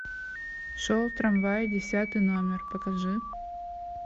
шел трамвай десятый номер покажи